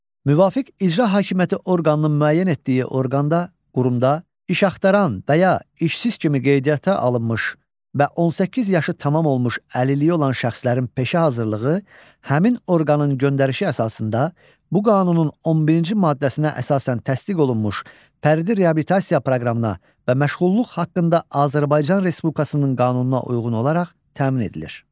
Müvafiq icra hakimiyyəti orqanının müəyyən etdiyi orqanda, qurumda iş axtaran və ya işsiz kimi qeydiyyata alınmış və 18 yaşı tamam olmuş əlilliyi olan şəxslərin peşə hazırlığı həmin orqanın göndərişi əsasında bu qanunun 11-ci maddəsinə əsasən təsdiq olunmuş fərdi reabilitasiya proqramına və məşğulluq haqqında Azərbaycan Respublikasının qanununa uyğun olaraq təmin edilir.